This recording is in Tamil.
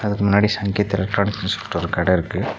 அதுக்கு முன்னாடி சங்கீத் எலக்ட்ரானிக்ஸ்னு சொல்ட்டு ஒரு கட இருக்கு.